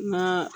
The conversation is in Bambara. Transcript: Ma